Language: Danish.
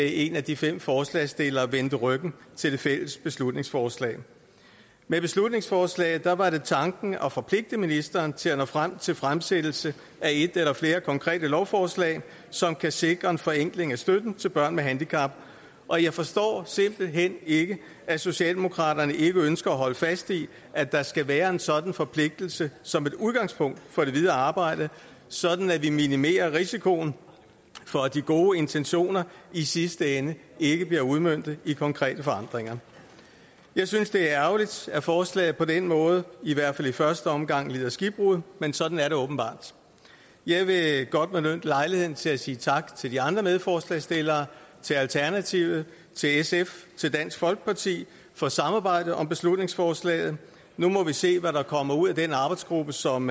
en af de fem forslagsstillere vendte ryggen til det fælles beslutningsforslag med beslutningsforslaget var var det tanken at forpligte ministeren til at nå frem til fremsættelse af et eller flere konkrete lovforslag som kan sikre en forenkling af støtten til børn med handicap og jeg forstår simpelt hen ikke at socialdemokraterne ikke ønsker at holde fast i at der skal være en sådan forpligtelse som et udgangspunkt for det videre arbejde sådan at vi minimerer risikoen for at de gode intentioner i sidste ende ikke bliver udmøntet i konkrete forandringer jeg synes det er ærgerligt at forslaget på den måde i hvert fald i første omgang lider skibbrud men sådan er det åbenbart jeg vil godt benytte lejligheden til at sige tak til de andre medforslagsstillere til alternativet til sf og til dansk folkeparti for samarbejdet om beslutningsforslaget nu må vi se hvad der kommer ud af den arbejdsgruppe som